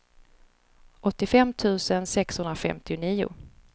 åttiofem tusen sexhundrafemtionio